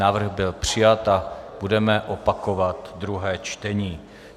Návrh byl přijat a budeme opakovat druhé čtení.